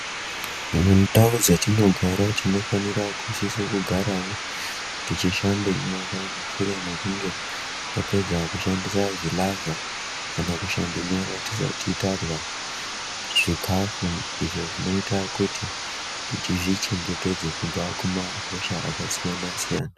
Mundau dzetinogara tinofanire kusise kugarawo tichishambe nyara mushure mekunge tapedza kushandise zvilavha kana kushambe nyara tisati tarya zvikhafu izvo zvinoite kuti tizvichengetedze kubva kumahosha akasiyana siyana.